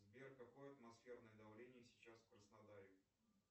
сбер какое атмосферное давление сейчас в краснодаре